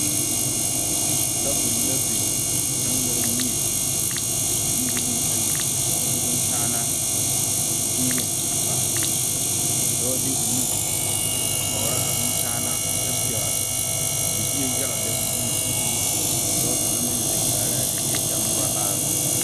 Tabol la biŋ ka gangare mie bombilii ayi ane bonkyaana bonyen a pare, ka dɔɔ de o nu a kyɔrɔ a bonkyaanaa kyɛ pegeli libie yaga lɛ o nuŋ, ka dɔɔ kaŋa meŋ zeŋ kaara a libie kyɛ morɔ laare.